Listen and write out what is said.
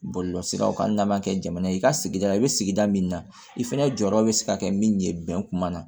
Bɔlɔlɔsiraw kan hali n'a ma kɛ jamana ye i ka sigida i bɛ sigida min na i fɛnɛ jɔyɔrɔ bɛ se ka kɛ min ye bɛn kuma na